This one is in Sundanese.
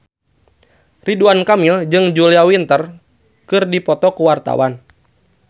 Ridwan Kamil jeung Julia Winter keur dipoto ku wartawan